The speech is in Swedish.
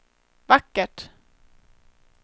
vackert